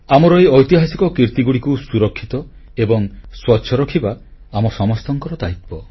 ଆମର ଏହି ଐତିହାସିକ କୀର୍ତ୍ତିଗୁଡ଼ିକୁ ସୁରକ୍ଷିତ ଏବଂ ସ୍ୱଚ୍ଛ ରଖିବା ଆମ ସମସ୍ତଙ୍କର ଦାୟିତ୍ୱ